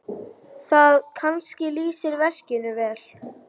Það kannski lýsir verkinu vel.